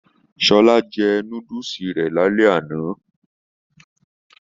Shola jẹ núdúsí rẹ ní alẹ́ àna.